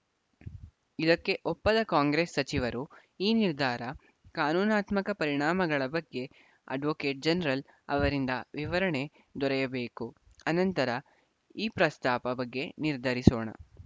ಇದಕ್ಕೆ ಒಪ್ಪದ ಕಾಂಗ್ರೆಸ್‌ ಸಚಿವರು ಈ ನಿರ್ಧಾರ ಕಾನೂನಾತ್ಮಕ ಪರಿಣಾಮಗಳ ಬಗ್ಗೆ ಅಡ್ವೋಕೇಟ್‌ ಜನರಲ್‌ ಅವರಿಂದ ವಿವರಣೆ ದೊರೆಯಬೇಕು ಅನಂತರ ಈ ಪ್ರಸ್ತಾಪ ಬಗ್ಗೆ ನಿರ್ಧರಿಸೋಣ